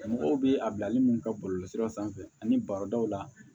Mɔgɔw bɛ a bilali mun kɛ bɔlɔlɔsira sanfɛ ani barodaw la